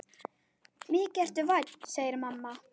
Mikið ertu vænn, segir mamma.